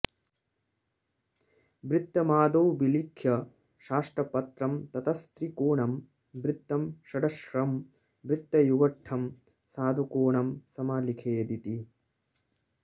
वृत्तमादौ विलिख्य साष्टपत्रं ततस्त्रिकोणं वृत्तं षडश्रं वृत्तयुगळं साधुकोणं समालिखेदिति